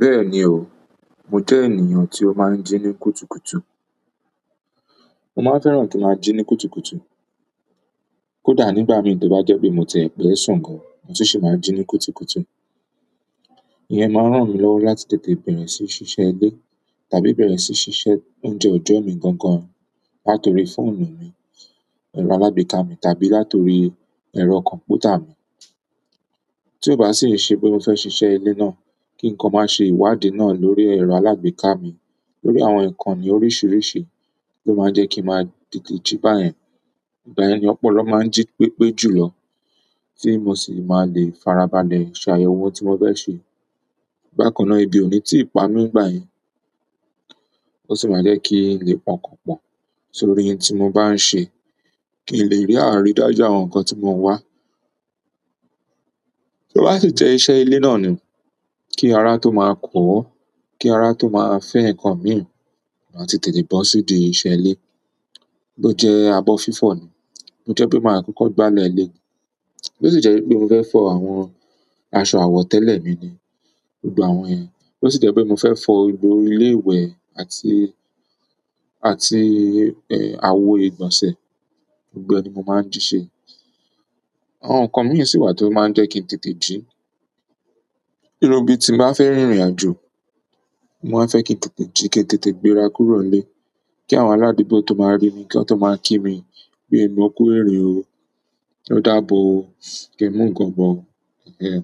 Bẹ́ẹ̀ni o, mo jẹ́ ènìyàn tí ó máa ń jí ní kùtùkùtù. Mo máa fẹ́ràn kí n máa jí ní kùtùkùtù. Kódà nígbà mi tó bá jẹ́ pé mo tiẹ̀ fẹ́ẹ̀ sùn gan, mo sì máa ń jí ní kùtùkùtù. Ìyẹn máa ń ràn mí lọ́wọ́ láti tètè bẹ̀rẹ̀ sí ṣíṣe ilé tàbí bẹ̀rẹ̀ sí ṣíṣe oúnjẹ ọjọ́ mi gan gan. Látòrí fóònù mi, ẹ̀rọ alágbèéká mi tàbí látòrí ẹ̀rọ kọ̀m̀pútà mi. Tí ó bá sì ṣe pé mo fẹ́ ṣiṣẹ́ ilé náà, kí nǹkan máa ṣe ìwádìí náà lórí ẹ̀rọ alágbèéká mi, lórí àwọn ǹkan ní oríṣiríṣi tó máa jẹ́ kí n máa tètè jí báyẹn. Ìgbà yẹn ni ọ̀pọ̀lọpọ̀ máa ń jí pépé jùlọ, tí mo sì máa lè farabalẹ̀ ṣe àyẹ̀wò tí mo fẹ́ ṣe. Bákan náà ebi o ní ti pami nígbà yẹn o sì máa ń jẹ ki ń lè pa ọkàn pọ̀ torí ń tí bá ń se kí ń lè ri aridaju àwọn nkán ti mo ń wa kí ó bá ti jẹ́ iṣẹ́ ilé náà ni, kí ara tó máa kọ́, kí ara tó máa fẹ́ nǹkan mìíràn, màá tètè bọ́ sídi iṣẹ́ ilé ló jẹ́ abọ́ fífo ni. Mo jẹ́ pé màá kọ́kọ́ gbálẹ̀ ilé. Bo sì jẹ́ pé mo fẹ́ fọ àwọn aṣọ àwọ̀tẹ́lẹ̀ mi ni, gbogbo àwọn yẹn. Bo sì jẹ́ pé mo fẹ́ fọ gbogbo ilé ìwẹ̀ àti, àti, eh, àwo ìgbọ̀nsẹ̀, gbogbo ẹni mo máa ń jí ṣe. Àwọn nǹkan mìíràn sì wà tó máa ń jẹ́ kí n tètè jí. Irú bí tí ń bá fẹ́ rìnrìn àjò, mo máa fẹ́ kí n tètè jí, kí n tètè gbéra kúrò ilé. Kí àwọn aládugbò tó máa rí mi, kí wọn tó máa kí mi pé èmi ò kú irin o, ó dáàbò o, kí n mú nǹkan bọ̀. Ẹ̀hen.